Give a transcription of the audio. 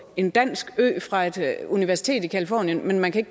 en dansk ø fra et universitet i californien men man kan